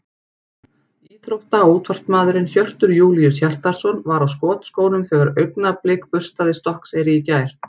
Íþrótta- og útvarpsmaðurinn Hjörtur Júlíus Hjartarson var á skotskónum þegar Augnablik burstaði Stokkseyri í gær.